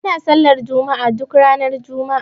Ana sallar juma'a duk ranar juma'a.